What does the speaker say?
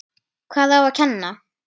Hvað á að kenna?